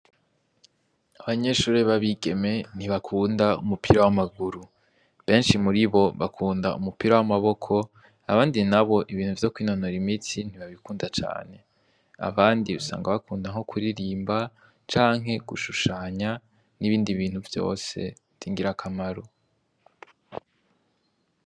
Abanyeshure b' abigeme ntibakunda umupira w' amaguru , benshi muribo bakunda umupira w' amaboko , abandi nabo ibintu vyo kwinonora imitsi ntibabikunda cane ,abandi usanga bakunda nko kuririmba canke gushushanya n' ibindi bintu vyose vy' ingira kamaro.